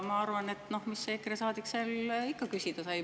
Ma arvan, et mis see EKRE saadik seal ikka küsida sai.